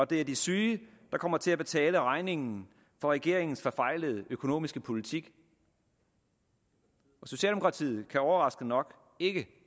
det er de syge der kommer til at betale regningen for regeringens forfejlede økonomiske politik socialdemokratiet kan overraskende nok ikke